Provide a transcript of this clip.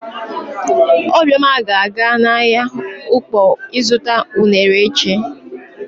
Obioma ga-aga n'ahịa Ụkpọ ịzụta unere echi.